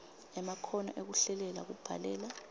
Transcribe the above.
emakhono ekuhlelela kubhalela